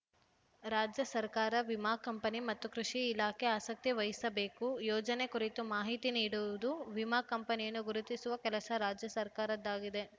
ರಾಜ್ಯ ಸರ್ಕಾರ ವಿಮಾ ಕಂಪನಿ ಮತ್ತು ಕೃಷಿ ಇಲಾಖೆ ಆಸಕ್ತಿ ವಹಿಸಬೇಕು ಯೋಜನೆ ಕುರಿತು ಮಾಹಿತಿ ನೀಡುವುದು ವಿಮಾ ಕಂಪನಿಯನ್ನು ಗುರುತಿಸುವ ಕೆಲಸ ರಾಜ್ಯ ಸರ್ಕಾರದ್ದಾಗಿದೆ